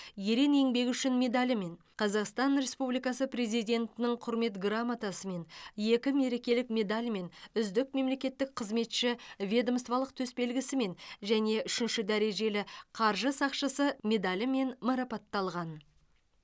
ерен еңбегі үшін медалімен қазақстан республикасы президентінің құрмет грамотасымен екі мерекелік медальмен үздік мемлекеттік қызметші ведомстволық төсбелгісімен және үшінші дәрежелі қаржы сақшысы медалімен марапатталған